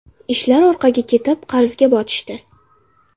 Ishlar orqaga ketib, qarzga botishdi.